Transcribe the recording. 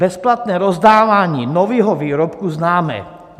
Bezplatné rozdávání nového výrobku známe.